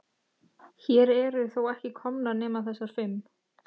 Hér eru þó ekki komnar nema þessar fimm.